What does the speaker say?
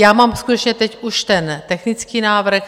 Já mám skutečně teď už ten technický návrh.